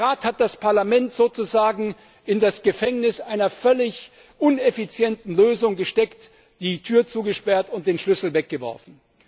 Der Rat hat das Parlament sozusagen in das Gefängnis einer völlig ineffizienten Lösung gesteckt, die Tür zugesperrt und den Schlüssel weggeworfen.